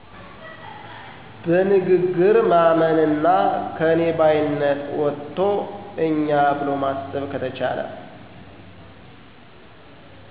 በንግግር ማመንና ከኔ ባይነት ወጥቶ እኛ ብሎ ማሰብ ከተቻለ